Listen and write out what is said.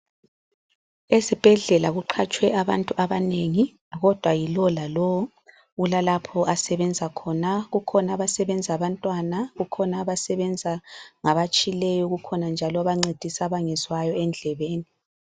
Esibhedlela kuqhatshwe abantu abanengi kodwa yilowo lalowo ulalapho asebenza khona. Kukhona abasebenza abantwana, kukhona abancedisa abatshileyo kukhona njalo abancedisa abangezwayo endlebeni.